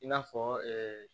I n'a fɔ